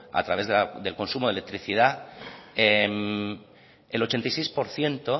a través del consumo de electricidad el ochenta y seis por ciento